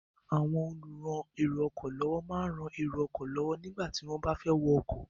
Àwọn olùran èrò ọkọ̀ lọ́wọ́ máa ń rán èrò ọkọ̀ lọ́wọ́ nígbà tí wọ́n bá fẹ́ wọ ọkọ̀.